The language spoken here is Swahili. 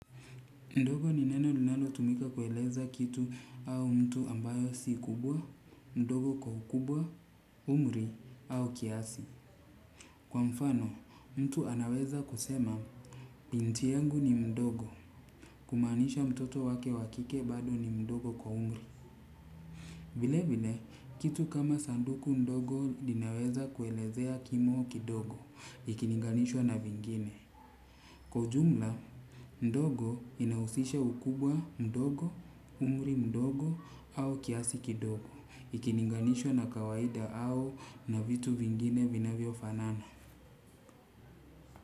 Ndugu ni neno linalo tumika kueleza kitu au mtu ambaye si kubwa ndogo kwa ukubwa umri au kiasi kwa mfano mtu anaweza kusema binti yangu ni mdogo kumaanisha mtoto wake wa kike bado ni mdogo kwa umri. Vile vile kitu kama sanduku ndogo linaweza kuelezea kimo kidogo ikilinganishwa na vingine. Kwa ujumla ndogo inahusisha ukubwa mdogo umri mdogo au kiasi kidogo ikilinganishwa na kawaida au na vitu vingine vinavyofanana.